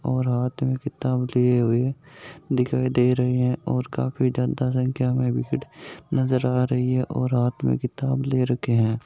और आदमी किताब लिए हुए दिखय दे रह हे और काफी ज्यादा संख्या में भीड़ नज़र आ रहा है और हाथ में किताब ले रखी है।